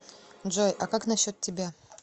джой а как насчет тебя